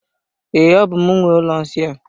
Ee, ọ bú m nwe ụlọ nsị a.